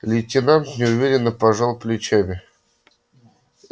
лейтенант неуверенно пожал плечами